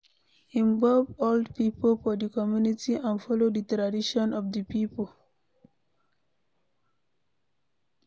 Involve old pipo for di community and follow di tradition of di pipo